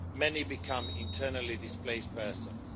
many became internally displaced persons.